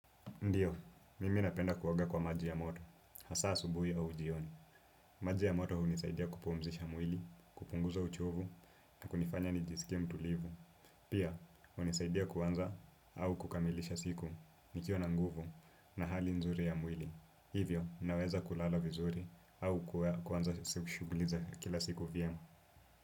Ndiyo, mimi napenda kuoga kwa maji ya moto, hasa asubuhi au jioni. Maji ya moto hunisaidia kupumzisha mwili, kupunguza uchovu na kunifanya nijisikie mtulivu. Pia, hunisaidia kuanza au kukamilisha siku nikiwa na nguvu na hali nzuri ya mwili. Hivyo, naweza kulala vizuri au kuanza shughuli za kila siku vyema.